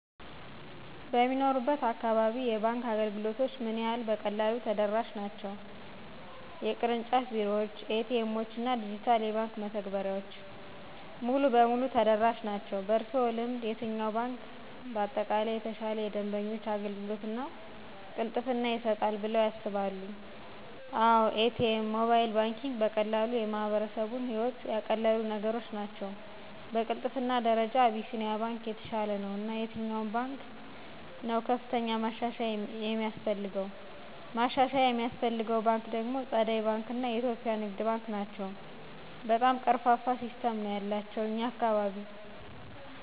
በሚኖሩበት እካባቢ የባንክ አገልግሎቶች ምን ያህል በቀላሉ ተደራሽ ናቸው (የቅርንጫፍ ቢሮዎች፣ ኤ.ቲ. ኤምዎች እና ዲጂታል የባንክ መተግበሪያዎች)? ሙሉ በሙሉ ተደራሽ ናቸው። በእርስዎ ልምድ፣ የትኛው ባንክ በአጠቃላይ የተሻለ የደንበኞች አገልግሎት እና ቅልጥፍና ይሰጣል በለዉ ያስባሉ? አወ ATM, Mobile banking ,በቀላሉ የማህበረሰቡን ህይወት ያቀለሉ ነገሮች ናቸው። በቅልጥፍና ደረጃ አቢሲንያ ባንክ የተሻለ ነው። እና የትኛው ባንክ ነው ከፍተኛ ማሻሻያ የሚያስፈልገው? ማሻሻያ የሚያስፈልገው ባንክ ደግሞ ፀደይ ባንክ እና የኢትዮጵያ ንግድ ባንክ ናቸው በጣም ቀርፋፋ ሲስተም ነው ያላቸው እኛ አካባቢ።